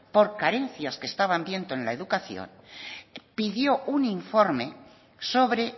por carencias que estaban viendo en la educación pidió un informe sobre